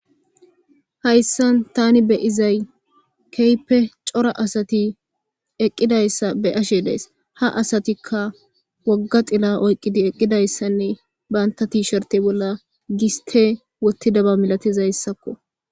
Hayssan tani beyizay keehippe cora asati eqqidayssa be7ashe de7ays. Ha asatikka wogga xila oyqqidi eqqidayssanne bantta tiisherte bolla giste wottidaba milatizayssakko.